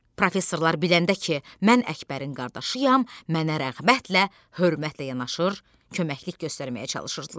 Professorlar biləndə ki, mən Əkbərin qardaşıyam, mənə rəğbətlə, hörmətlə yanaşır, köməklik göstərməyə çalışırdılar.